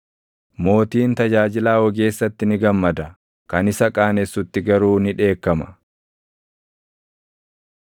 Mootiin tajaajilaa ogeessatti ni gammada; kan isa qaanessutti garuu ni dheekkama.